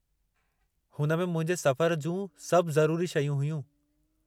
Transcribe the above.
हुन में मुंहिंजे सफ़र जूं सभु ज़रूरी शयूं हुयूं।